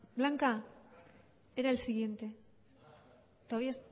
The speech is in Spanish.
blanca era el siguiente todavía